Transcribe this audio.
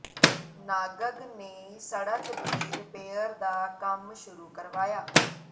ਨਾਗਰਾ ਨੇ ਸੜਕ ਦੀ ਰਿਪੇਅਰ ਦਾ ਕੰਮ ਸ਼ੁਰੂ ਕਰਵਾਇਆ